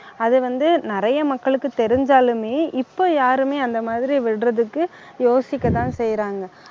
அது வந்து நிறைய மக்களுக்கு தெரிஞ்சாலுமே இப்போ யாருமே அந்த மாதிரி விடறதுக்கு யோசிக்கதான் செய்றாங்க